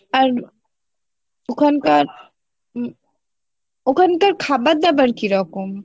আর ওখান কার উম ওখান কার খাবার দাবার কিরকম